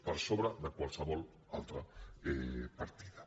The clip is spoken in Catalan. per sobre de qualsevol altra partida